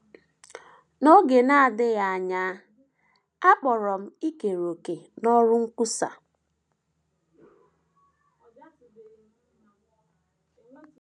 N’oge na - adịghị anya, a kpọrọ m ikere òkè n’ọrụ nkwusa.